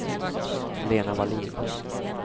Lena Wallin